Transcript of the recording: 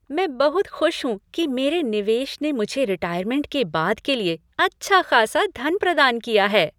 मैं बहुत खुश हूँ कि मेरे निवेश ने मुझे रिटायरमेंट के बाद के लिए अच्छा खासा धन प्रदान किया है।